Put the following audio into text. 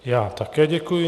Já také děkuji.